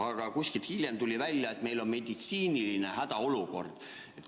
Aga kuskilt hiljem tuli välja, et meil on meditsiiniline hädaolukord.